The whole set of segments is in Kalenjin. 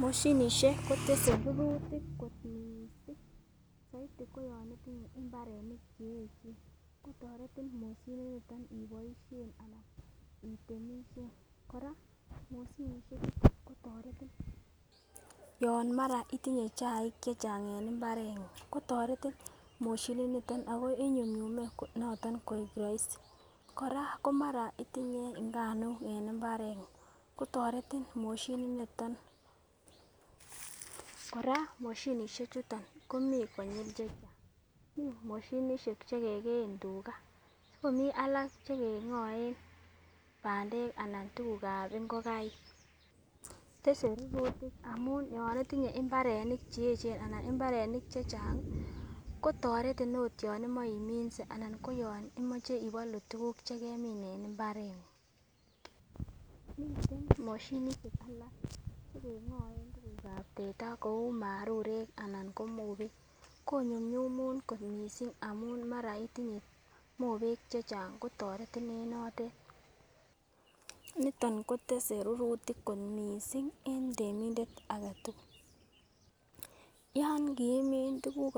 Moshinisiek kotese rurutik kot missing soiti ko yon itinye mbarenik cheyechen kotoretin itemisyen ako yon itinye chaik chechang' en mbareng'ung akoinyumnyume kasit, kora yon itinye nganuk koteretin, moshinisiek chu komi konyil chechang' chekikeyen tuga, cheking'oen bandek anan tuguk ab ngokaik, tese rurutik amun yon won mbaret kotoretin yon imoche iminse anan ibolu tuguk chomi mbaar cheking'oen tuguk ab teta kou marurek konyumnyumun yon itinye mobek chechang'.Yan kiimin tuguk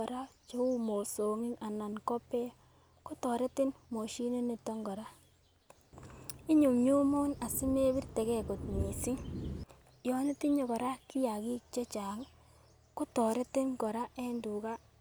cheu mosong'ik anan ko beek anan ko kiagik chechang' kotoreti konyumnyum kasit.